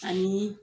Ani